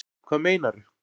Hvað meinaru